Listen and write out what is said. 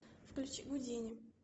включи гудини